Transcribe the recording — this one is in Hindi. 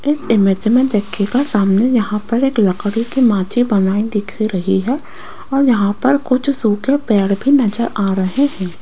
इस इमेज में देखिएगा सामने यहां पर एक लकड़ी की माची बनाई दिख रही है और यहां पर कुछ सूखे पेड़ भी नजर आ रहे हैं।